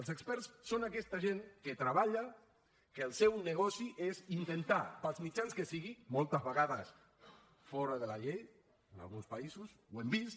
els experts són aquesta gent que treballa que el seu negoci és intentar pels mitjans que sigui moltes vegades fora de la llei en alguns països ho hem vist